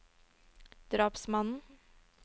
drapsmannen